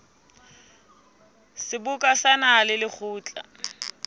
seboka sa naha le lekgotla